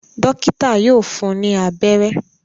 Dọ́kítá yóò fun ní abẹ́rẹ́.